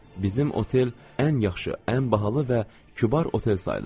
Bizim otel ən yaxşı, ən bahalı və kübar otel sayılırdı.